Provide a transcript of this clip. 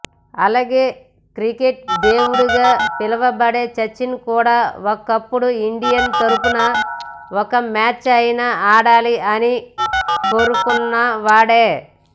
అలాగే క్రికెట్ దేవుడిగా పిలవబడే సచిన్ కూడా ఒకప్పుడు ఇండియా తరుపున ఒక్క మ్యాచ్ అయిన ఆడాలి అని కోరుకున్నవాడే